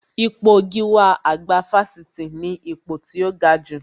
Ipò gíwá àgbà Fáṣítì ni ipò tó gajù